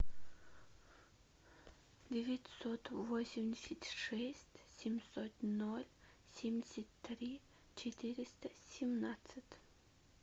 девятьсот восемьдесят шесть семьсот ноль семьдесят три четыреста семнадцать